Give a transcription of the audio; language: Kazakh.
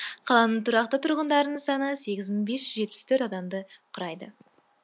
қаланың тұрақты тұрғындарының саны сегіз мың бес жүз жетпіс төрт адамды құрайды